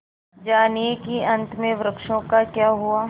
जानिए कि अंत में वृक्षों का क्या हुआ